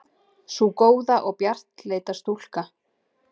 Sú góða og bjartleita stúlka.